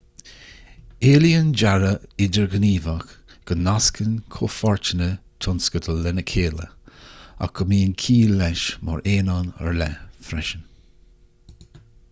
éilíonn dearadh idirghníomhach go nascann comhpháirteanna tionscadail lena chéile ach go mbíonn ciall leis mar aonán ar leith freisin